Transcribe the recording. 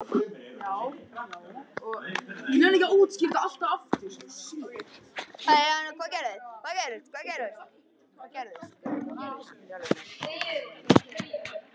Vísindin telja sig hins vegar ekkert endilega hafa höndlað einhvern algeran, endanlegan og óbreytanlegan sannleika.